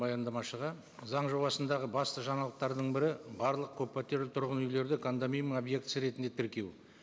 баяндамашыға заң жобасындағы басты жаңалықтардың бірі барлық көппәтерлі тұрғын үйлерді кондоминиум объектісі ретінде тіркеу